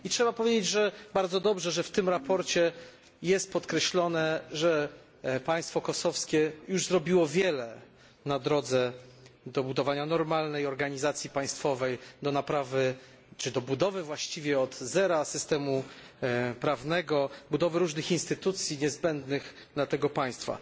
I trzeba powiedzieć, że bardzo dobrze, że w tym sprawozdaniu podkreślono, że państwo kosowskie już zrobiło wiele na drodze do budowania normalnej organizacji państwowej, do naprawy czy do budowy właściwie od zera systemu prawnego, budowy różnych instytucji niezbędnych dla tego państwa.